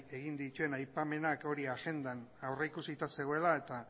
egin dituen aipamenak hori agendan aurrikusita zegoela eta